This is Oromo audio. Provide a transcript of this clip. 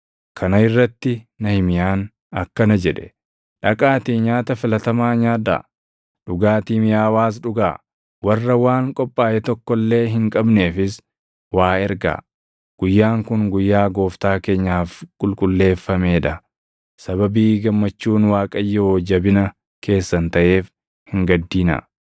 Kana irratti Nahimiyaan akkana jedhe; “Dhaqaatii nyaata filatamaa nyaadhaa; dhugaatii miʼaawaas dhugaa; warra waan qophaaʼe tokko illee hin qabneefis waa ergaa. Guyyaan kun guyyaa Gooftaa keenyaaf qulqulleeffamee dha. Sababii gammachuun Waaqayyoo jabina keessan taʼeef hin gaddinaa.”